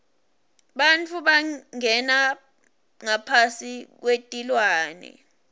bantfu bangena ngaphasi kwetilwane